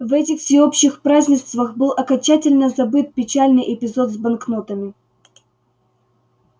в этих всеобщих празднествах был окончательно забыт печальный эпизод с банкнотами